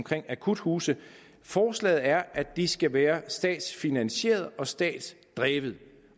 akuthuse forslaget er at de skal være statsfinansierede og statsdrevne